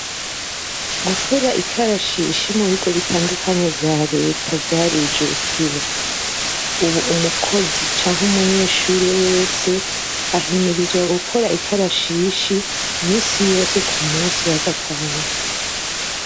Gukora ikarashishi mu bigo bitandukanye vya Leta vyarijukiwe ubu umukozi canke umunyeshure wese ahimirizwa gukora ikarashishi iminsi yose mu munsi wa gatanu.